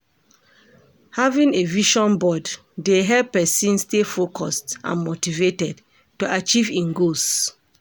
Having a vision board dey help pesin stay focused and motivated to achieve im goals.